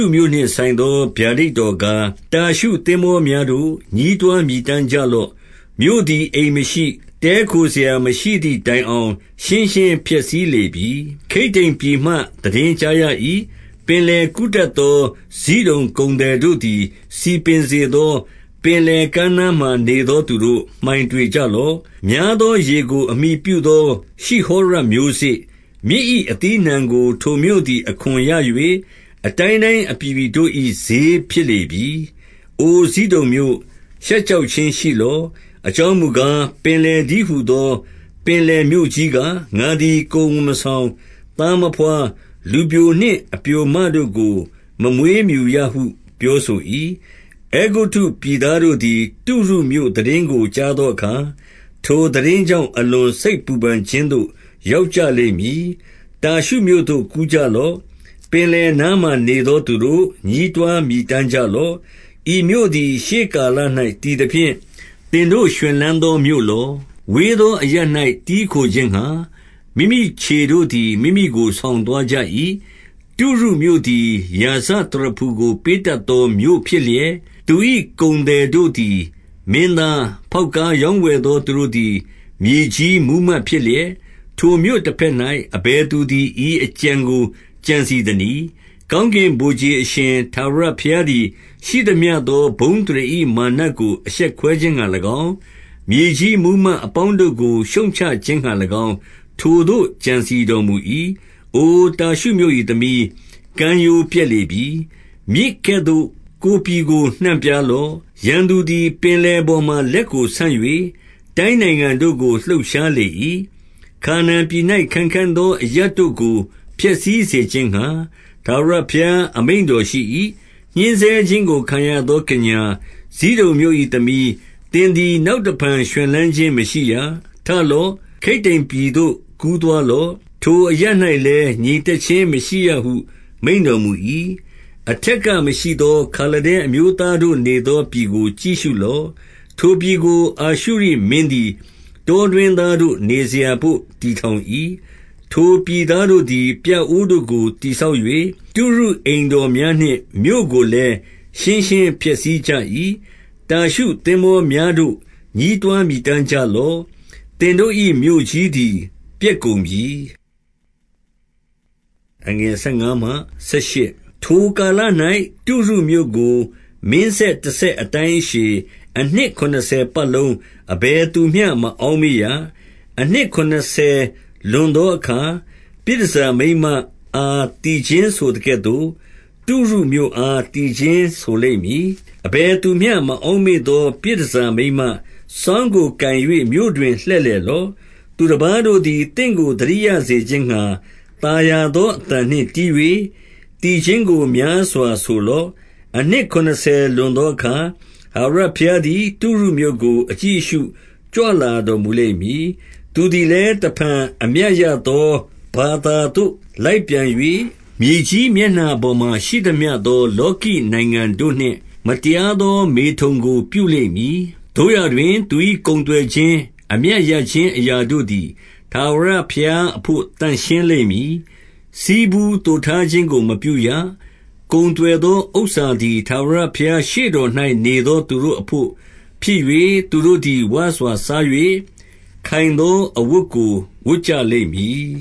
ုမြို့နှင့်ဆိုင်သော ဗျာဒိတ်တော်ကား၊ တာရှု သင်္ဘောများတို့၊ ညည်းတွားမြည်တမ်းကြလော့။ မြို့သည် အိမ်မရှိ၊ တည်းခိုစရာ မရှိသည် တိုင်အောင် ရှင်းရှင်း ပျက်စီးလေပြီ။ ခိတ္တိမ်ပြည်မှ သိတင်းကြားရ၏။ ပင်လယ်ကူးတတ်သော ဇိဒုန်ကုန်သည်တို့သည် စည်ပင်စေသော၊ ပင်လယ်ကမ်းနားမှာ နေသောသူတို့၊ မှိုင်တွေကြလော့။ များသောရေကို အမှီပြုသော ရှိဟောရ မျိုးစေ့၊ မြစ်၏ အသီးအနှံကို ထိုမြို့သည် အခွန်ရ၍၊ အတိုင်းတိုင်း အပြည်ပြည်တို့၏ ဈေးဖြစ်လေပြီ။ အိုဇိဒုန်မြို့၊ ရှက်ကြောက်ခြင်းရှိလော့။ အ ကြောင်းမူကား၊ ပင်လယ်တည်းဟူသော ပင်လယ်မြို့ကြီး က၊ ငါသည် ကိုယ်ဝန်မဆောင်၊ သားမဘွား၊ လူပျို နှင့် အပျိုမတို့ကို မမွေးမြူရဟု ပြောဆို၏။ အဲဂုတ္တုပြည်သားတို့သည် တုရုမြို့သိတင်းကို ကြားသောအခါ၊ ထိုသိတင်းကြောင့် အလွန်စိတ်ပူပန်ခြင်း သို့ ရောက်ကြလိမ့်မည်။ တာရှုမြို့သို့ ကူးကြလော့။ ပင်လယ်နားမှာ နေသောသူတို့၊ ညည်းတွားမြည်တမ်းကြလော့။ ဤမြို့သည် ရှေးကာလ၌ တည်သဖြင့် သင်တို့ ရွှင်လန်းသောမြို့လော။ ဝေးသော အရပ်၌ တည်းခို ခြင်း ငှါ၊ မိမိခြေတို့သည် မိမိကိုဆောင်သွားကြ၏။ တုရုမြို့သည် ရာဇသရဖူကို ပေးတတ်သောမြို့ ဖြစ်လျက်၊ သူ၏ကုန်သည်တို့သည် မင်းသား၊ ဖောက်ကား ရောင်းဝယ်သော သူတို့သည် မြေကြီးမှုးမတ်ဖြစ်လျက်၊ ထိုမြို့တဘက်၌ အဘယ်သူသည် ဤအကြံကို ကြံစည် သနည်း။ ကောင်းကင်ဗိုလ်ခြေအရှင် ထာဝရဘုရားသည်၊ ရှိသမျှသော ဘုန်းအသရေ၏ မာနကို အရှက်ခွဲခြင်းငှါ ၎င်း၊မြေကြီး မှုးမတ်အပေါင်းတို့ကို ရှုတ်ချခြင်းငှါ၎င်း ထိုသို့ကြံစည်တော်မူ၏။ အိုတာရှုမြို့၏သ္မီး၊ ကမ်းရိုးပျက်လေပြီ။ မြစ်ကဲ့သို့ ကိုယ်ပြည်ကို နှံ့ပြားလော့။ ရန်သူသည် ပင်လယ်ပေါ်မှာ လက်ကိုဆန့်၍၊ တိုင်းနိုင်ငံတို့ကို လှုပ်ရှားလေ၏။ ခါနာန်ပြည်၌ ခိုင်ခံ့သော အရပ်တို့ကို ဖျက်ဆီးစေခြင်းငှါ၊ ထာဝရဘုရား အမိန့် တော်ရှိ၏။ ညှဉ်းဆဲခြင်းကို ခံရသော ကညာ၊ ဇိဒုန်မြို့၏သ္မီး၊ သင်သည် နောက်တဖန် ရွှင်လန်းခြင်း မရှိရ။ ထလော့။ ခိတ္တိမ်ပြည်သို့ ကူးသွားလော့။ ထိုအရပ်၌လည်း ငြိမ်သက် ခြင်း မရှိရဟု မိန့်တော်မူ၏။ အထက်က မရှိသော ခါလဒဲအမျိုးသားတို့နေ သော ပြည်ကို ကြည့်ရှုလော့။ ထိုပြည်ကို အာရှုရိမင်းသည် တောတွင်းသားတို့ နေစရာဘို့ တည်ထောင်၏။ ထိုပြည် သားတို့သည် ပြအိုးတို့ကို တည်ဆောက်၍၊ တုရုအိမ်တော် များနှင့် မြို့ကိုလည်း ရှင်းရှင်းဖျက်ဆီးကြ၏။ တာရှုသင်္ဘောများတို့၊ ညည်းတွားမြည်တမ်းကြ လော့။ သင်တို့၏ မြို့ကြီးသည် ပျက်ကုန်ပြီ။ ထိုကာလ၌ တုရုမြို့ကို၊မင်းဆက်တဆက်အတိုင်း အရှည်၊ အနှစ် ခုနစ်ဆယ်ပတ်လုံး၊ အဘယ်သူမျှမအောက် မေ့ရ။ အနှစ်ခုနစ်ဆယ်လွန်သောအခါ၊ ပြည်တန်ဆာ မိန်းမအားသီချင်းဆိုသကဲ့သို့၊ တုရုမြို့အား သီချင်းဆိုလိမ့် မည်။ အဘယ်သူမျှ မအောက်မေ့သော ပြည်တန်ဆာ မိန်းမ၊ စောင်းကိုကိုင်၍ မြို့တွင်လှည့်လည်လော့။ သူတပါးတို့သည် သင့်ကို သတိရစေခြင်းငှါ၊ သာယာသော အသံနှင့် တီး၍၊ သီချင်းကို များစွာဆိုလော့။ အနှစ်ခုနစ်ဆယ် လွန်သောအခါ၊ ထာဝရဘုရား သည် တုရုမြို့ကို အကြည့်အရှု ကြွလာတော်မူလိမ့်မည်။ သူသည်လည်း တဖန်အမြတ်ရသော ဘာသာသို့လိုက်ပြန် ၍၊ မြေကြီးမျက်နှာပေါ်မှာ ရှိသမျှသော လောကီနိုင်ငံတို့ နှင့် မတရားသော ဓမထုန်ကိုပြုလိမ့်မည်။ သို့ရာတွင်၊ သူ၏ ကုန်သွယ်ခြင်း၊ အမြတ်ရခြင်း အရာတို့သည် ထာဝရဘုရားအဘို့ သန့်ရှင်းလိမ့်မည်။ ဆည်းဖူးသိုထားခြင်းကို မပြုရ။ ကုန်သွယ်သော ဥစ္စာ သည် ထာဝရဘုရားရှေ့တော်၌ နေသောသူတို့အဘို့ ဖြစ်၍ သူတို့သည် ဝစွာစား၍ ခိုင်သောအဝတ်ကို ဝတ်ကြလိမ့်မည်